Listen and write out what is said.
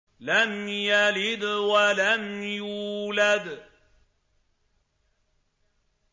لَمْ يَلِدْ وَلَمْ يُولَدْ